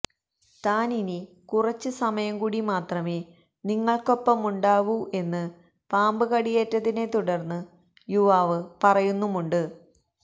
താൻ ഇനി കുറച്ച് സമയം കൂടി മാത്രമേ നിങ്ങൾക്കൊപ്പമുണ്ടാവൂ എന്ന് പാമ്പ് കടിയേറ്റതിനെ തുടർന്ന് യുവാവ് പറയുന്നുമുണ്ട്